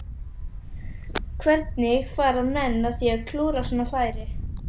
Hvernig fara menn að því að klúðra svona færi?